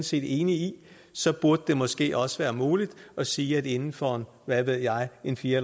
set enig i så burde det måske også være muligt at sige at inden for hvad ved jeg en fire